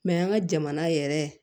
Mɛ an ka jamana yɛrɛ